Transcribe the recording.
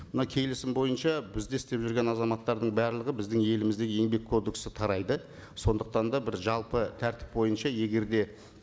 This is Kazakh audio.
мына келісім бойынша бізде істеп жүрген азаматтардың барлығы біздің елімізде еңбек кодексі тарайды сондықтан да бір жалпы тәртіп бойынша егер де